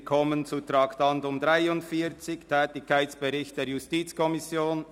Wir kommen zum Traktandum 43, dem Tätigkeitsbericht der JuKo.